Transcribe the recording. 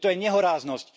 Veď to je nehoráznosť.